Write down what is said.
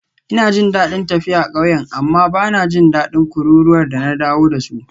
Ina jin daɗin tafiya ƙauyen amma ba na jin daɗin kururuwar da na dawo da su.